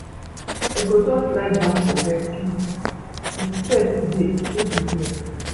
I go just lie down for bed sleep, di stress today no be here.